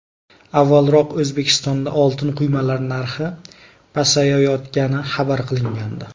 Avvalroq O‘zbekistonda oltin quymalar narxi pasayayotgani xabar qilingandi .